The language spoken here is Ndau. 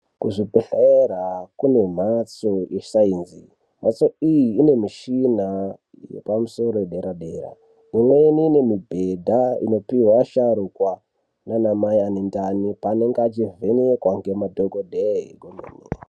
Kuzvibhehlera kune mhatso yesaenzi. Mhatso iyi ine mishina yepamusoro yederadera. Imweni ine mibhedha inopihwa asharukwa nana mai ane ndani paanenge achivhenekwa nemadhokodheya kwemene.